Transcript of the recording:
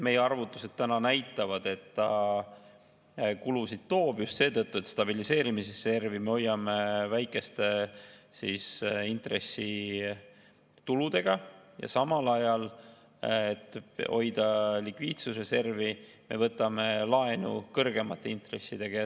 Meie arvutused näitavad, et ta kulusid toob just seetõttu, et stabiliseerimisreservi me hoiame väikeste intressituludega, ja samal ajal, et hoida likviidsusreservi, me võtame laenu kõrgemate intressidega.